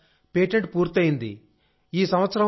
అవును sir patent పూర్తయింది